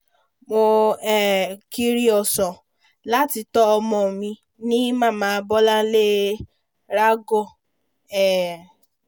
mo um kiri ọ̀sán láti tọ́ ọmọ mi ní màmá bọ́láńlé ragoor um